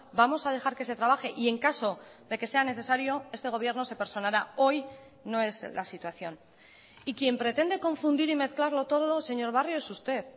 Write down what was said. vamos a dejar que se trabaje y en caso de que sea necesario este gobierno se personará hoy no es la situación y quien pretende confundir y mezclarlo todo señor barrio es usted